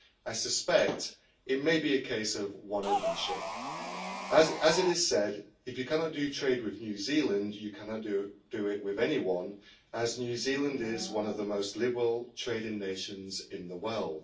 I suspect it may be a case of one upmanship. As it is said, if you cannot do trade with New Zealand, you cannot do it with anyone, as New Zealand is one of the most liberal trading nations in the world.